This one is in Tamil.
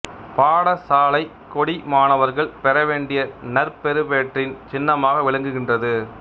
பாடசாலைக் கொடி மாணவர்கள் பெற வேண்டிய நற்பெறுபேற்றின் சின்னமாக விளங்குகின்றது